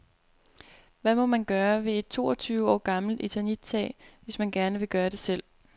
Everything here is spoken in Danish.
Hvad må man gøre ved et toogtyve år gammelt eternittag, hvis man gerne vil gøre det selv.